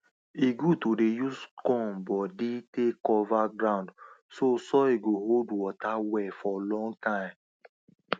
e good to dey use corn body take cover ground so soil go hold water well for long time